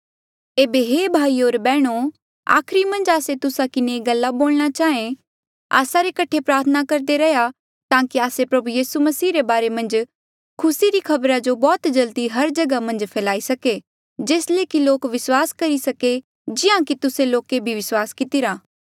ऐबे हे भाईयो होर बैहणो आखरी मन्झ आस्से तुस्सा किन्हें ये गल्ला बोलणा चाहें आस्सा रे कठे प्रार्थना करदे रैहया ताकि आस्से प्रभु यीसू मसीह रे बारे मन्झ खुसी री खबरा जो बौह्त जल्दी हर जगहा मन्झ फैल्ही सके जेस ले कि लोक विस्वास करी सके जिहां कि तुस्से लोके भी विस्वास कितिरा